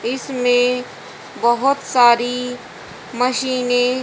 इसमें बहोत सारी मशीने --